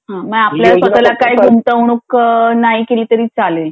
म्हणजे आपल्या स्वतहाला काही गुंतवणूक नाही केली तरी चालेल